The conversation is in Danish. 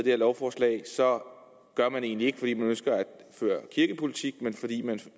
her lovforslag så gør man det egentlig ikke fordi man ønsker at føre kirkepolitik men fordi man